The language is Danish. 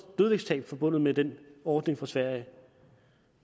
dødvægtstab forbundet med den ordning fra sverige